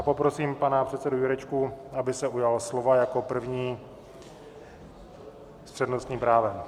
A poprosím pana předsedu Jurečku, aby se ujal slova jako první s přednostním právem.